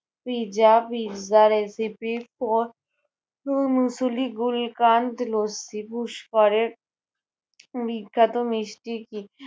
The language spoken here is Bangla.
Pizza, pizza recipe gulkand lassi. পুস্করে উম বিখ্যাত মিষ্টি কী?